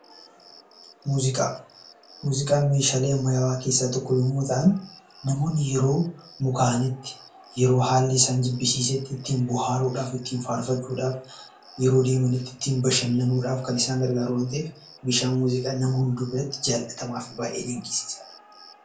Muuziqaa Muuziqaan meeshaalee ammayyaawaa keessaa tokko yommuu ta'an, namoonni yeroo mukaa'anitti, yeroo haalli isaan jibbisiisetti ittiin bohaaruu dhaaf, ittiin faarfachuu dhaaf, yeroo deemanitti ittiin bashannanuu dhaaf kan isaan gargaaru waan ta'eef, meeshaan muuziqaa nama hunda biratti jaallatamaaf baay'ee dinqisiisaa dha.